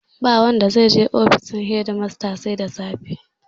Ba wanda zai je ofishin shedimasta sai da safe